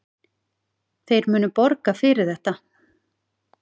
Þeir munu borga fyrir þetta.